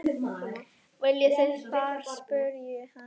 Viljið þið far? spurði hann.